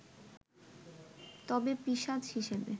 তবে পিশাচ হিসেবে